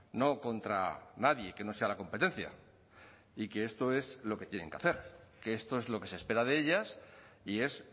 no contra nadie que no sea la competencia y que esto es lo que tienen que hacer que esto es lo que se espera de ellas y es